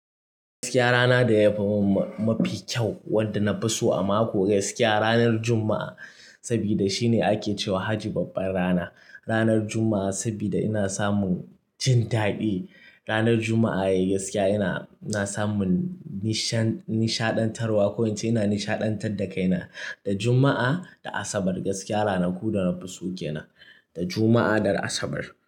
Gaskiya rana da yafi mun mafi kyau, wanda na fi so a mako gaskiya ranar Juma'a. Saboda shine ake cewa haji babban rana. Ranar Juma'a saboda ina samun, jin daɗi. Ranar Juma'a yayi gaskiya, ina ina samun nisha-nishaɗantarwa ko in ce ina nishaɗantar da kaina. Da Juma'a da Asabar gaskiya ranaku da na fi so ke na, da Juma'a da Asabar.